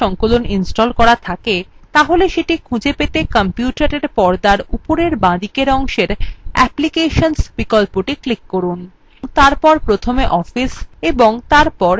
তাহলে সেটি খুঁজে পেতে কম্পিউটারএর পর্দার উপরের বাঁদিকের অংশের applications বিকল্পটি ক্লিক করুন এবং তারপর প্রথমে office of তারপর libreoffice বিকল্পটির উপর ক্লিক করুন